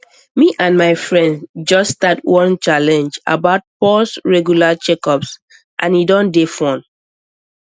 me and my friends just start one challenge about pause regular checkups and e don dey fun